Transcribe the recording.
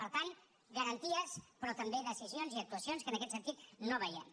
per tant garanties però també decisions i actuacions que en aquest sentit no veiem